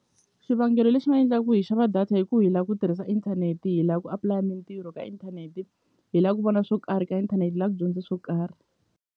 Xivangelo lexi nga endla ku hi xava data i ku hi la ku tirhisa inthanete hi la ku apulaya mintirho ka inthanete hi la ku vona swo karhi ka inthanete hi la ku dyondze swo karhi.